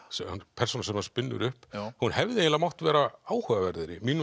persóna sem hann spinnur upp hún hefði eiginlega mátt vera áhugaverðari mín